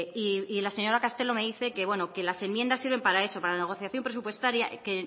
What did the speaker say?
y la señora castelo me dice que bueno que las enmiendas sirven para eso que en la negociación presupuestaria que en